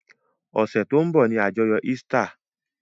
Ọ̀sẹ̀ tó ń bọ̀ ni àjọyọ̀ Easter.